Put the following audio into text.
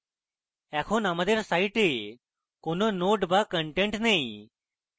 এখনো আমাদের site কোনো nodes বা content নেই